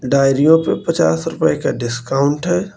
डायरियों पे पचास रुपए का डिस्काउंट है।